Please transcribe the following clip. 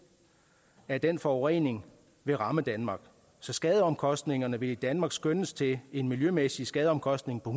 af den forurening vil ramme danmark så skadeomkostningerne vil i danmark skønnes til en miljømæssig skadeomkostning på